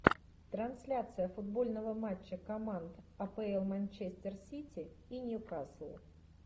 трансляция футбольного матча команд апл манчестер сити и ньюкасл